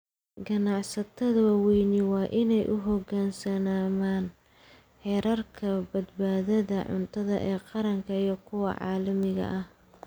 Ganacsatada waaweyni waa inay u hoggaansamaan xeerarka badbaadada cuntada ee qaranka iyo kuwa caalamiga ah.